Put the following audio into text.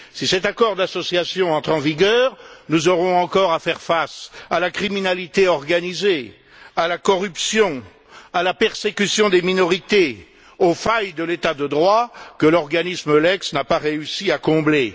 Si cet accord d'association entre en vigueur, nous aurons encore à faire face à la criminalité organisée, à la corruption, à la persécution des minorités, aux failles de l'État de droit que l'organisme EULEX n'a pas réussi à combler.